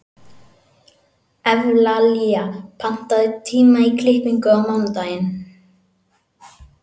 Evlalía, pantaðu tíma í klippingu á mánudaginn.